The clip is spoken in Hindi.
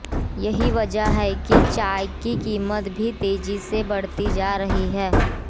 यही वजह है कि चाय की कीमत भी तेजी से बढ़ती जा रही है